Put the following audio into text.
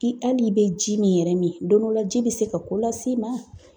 I hali i bɛ ji min yɛrɛ min , don dɔ la, ji bɛ se ka ko las'i ma!